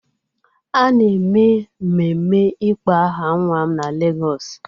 A na-eme mmemme ịkpọ aha nwa m na Lagos